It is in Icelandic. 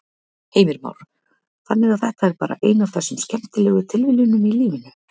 Heimir Már: Þannig að þetta er bara ein af þessum skemmtilegu tilviljunum í lífinu?